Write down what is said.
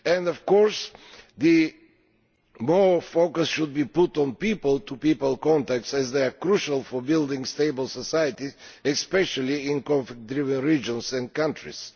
Of course, more focus should be put on people to people contacts, as they are crucial for building stable societies, especially in conflict riven regions and countries.